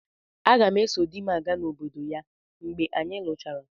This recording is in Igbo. Aga m eso di m aga n'obodo ya mgbe anyị luchara.